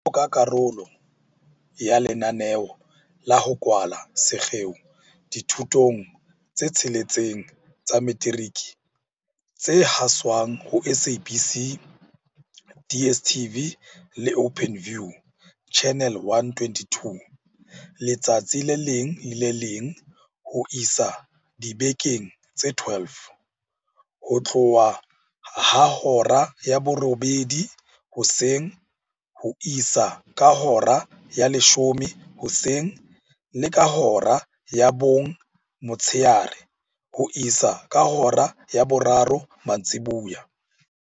Jwaloka karolo ya lenaneo la ho kwala sekgeo dithutong tse tsheletseng tsa metiriki tse haswang ho SABC, DSTV le Openview, Channel 122, letsatsi le leng le le leng ho isa dibekeng tse 12, ho tloha ka hora ya borobedi hoseng ho isa ka hora ya leshome hoseng le ka hora ya bong motshehare ho isa ka hora ya boraro mantsibuya.